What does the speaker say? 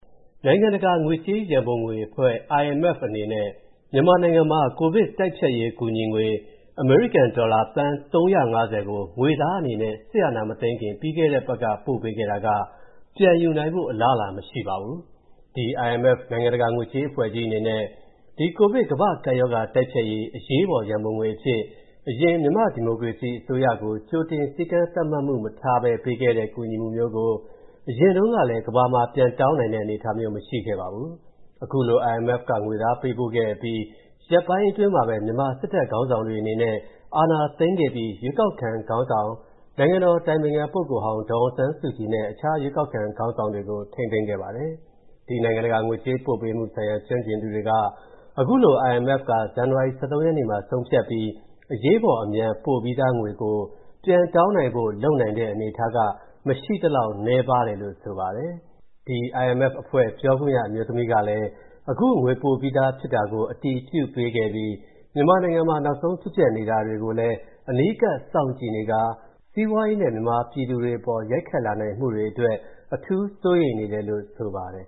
နိုင်ငံတကာငွေကြေးရန်ပုံငွေအဖွဲ့ (IMF) အနေနဲ့ မြန်မာနိုင်ငံမှာ ကိုဗစ်တိုက်ဖျက်ရေးကူညီငွေ အမေရိကန်ဒေါ်လာ သန်း ၃၅၀ ကို ငွေသားအနေနဲ့ စစ်အာဏာမသိမ်းခင် ပြီးခဲ့တဲ့အပတ်ကပဲ ပို့ခဲ့တာက ပြန်ယူနိုင်ဖို့ အလားအလာမရှိပါဘူး။ ဒီ IMF နိုင်ငံတကာငွေကြေး အဖွဲ့ကြီးအနေနဲ့ ဒီ ကိုဗစ်ကမ္ဘာ့ကပ်ရောဂါတိုက်ဖျက်ရေးအရေးပေါ်ရန်ပုံငွေအဖြစ် အရင်မြန်မာ့ဒီမိုကရေစီအစိုးရကို ကြိုတင်စည်းကမ်းသတ်မှတ်မှု မထားဘဲပေးခဲ့တဲ့ ကူညီမှုမျိုးကို အရင်တုန်းကလည်း ကမ္ဘာမှာ ပြန်တောင်းနိုင်တဲ့ အနေအထားမျိုး မရှိခဲ့ဖူးပါဘူး။ အခုလို IMF က ငွေသားပေးပို့ခဲ့အပြီး ရက်ပိုင်းတွင်းမှာပဲ မြန်မာစစ်တပ်ခေါင်းဆောင်တွေအနေနဲ့ အာဏာသိမ်းခဲ့ပြီး ရွေးကောက်ခံခေါင်းဆောင် နိုင်ငံတော်အတိုင်ပင်ခံပုဂ္ဂိုလ်ဟောင်း ဒေါ်အောင်ဆန်းစုကြည်နဲ့ အခြားရွေးကောက်ခံခေါင်းဆောင်တွေကို ထိန်းသိမ်းခဲ့ပါတယ်။ ဒီနိုင်ငံတကာငွေကြေးပေးပို့မှုဆိုင်ရာ ကျွမ်းကျင်သူတွေက အခုလို IMF က ဇန်နဝါရီ ၁၃ ရက်မှာ ဆုံးဖြတ်ပြီး အရေးပေါ်အမြန် ပို့ပြီးသားငွေကို ပြန်တောင်းနိုင်ဖို့ လုပ်နိုင်တဲ့အနေအထားက မရှိသလောက်နည်းပါတယ်လို့ ဆိုပါတယ်။ ဒီ IMF အဖွဲ့ ပြောခွင့်ရ အမျိုးသမီးကလည်း အခုငွေပို့ပြီးဖြစ်တာကို အတည်ပြုပေးခဲ့ပြီး မြန်မာနိုင်ငံမှာ နောက်ဆုံးဖြစ်ပျက်နေတာတွေကိုလည်း အနီးကပ်စောင့်ကြည့်နေခါ စီးပွားရေးနဲ့ မြန်မာပြည်သူတွေအပေါ် ရိုက်ခတ်လာနိုင်မှုတွေအတွက် အထူးစိုးရိမ်နေတယ်လို့ ဆိုပါတယ်